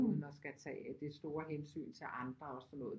Uden at skal tage det store hensyn til andre og sådan noget